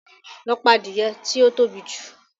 Lọ pa adìẹ tí ó tóbi jù!